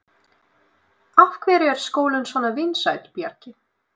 Af hverju er skólinn svona vinsæll, Bjarki?